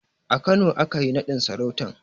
A Kano aka yi naɗin sarautan